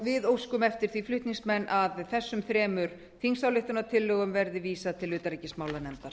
við oksum eftir því flutningsmenn að þessum þremur þingsályktunartillögum verði vísað til utanríkismálanefndar